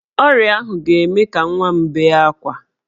Ọrịa ahụ ga-eme ka nwa m bee ákwá.